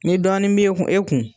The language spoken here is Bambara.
Ni dɔɔnin b'e kun e kun